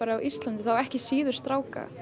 á landi þá ekki síður stráka